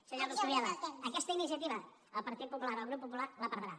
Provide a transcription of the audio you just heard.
senyor coscubiela aquesta iniciativa el partit popular el grup popular la perdrà